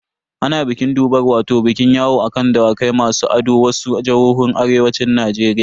Ana bikin durbar wato bikin yawo a kan Dawakai masu ado a wasu jihohin arewacin Najeriya.